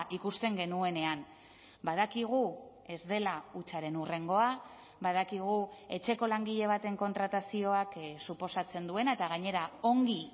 ikusten genuenean badakigu ez dela hutsaren hurrengoa badakigu etxeko langile baten kontratazioak suposatzen duena eta gainera ongi